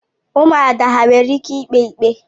Ụmụada ha nwere ike ikpe ikpe?